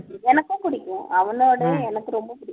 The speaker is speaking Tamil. எனக்கும் பிடிக்கும் அவனோடயும் எனக்கு ரொம்ப பிடிக்கும்